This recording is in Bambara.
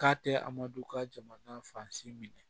K'a tɛ amadu ka jamana fansi minɛ